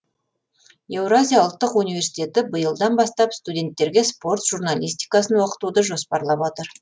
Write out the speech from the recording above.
еуразия ұлттық университеті биылдан бастап студенттерге спорт журналистикасын оқытуды жоспарлап отыр